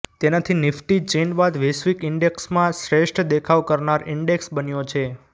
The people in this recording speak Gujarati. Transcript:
તેનાથી નિફ્ટી ચીન બાદ વૈશ્વિક ઇન્ડેક્સમાં શ્રેષ્ઠ દેખાવ કરનાર ઇન્ડેક્સ બન્યો છે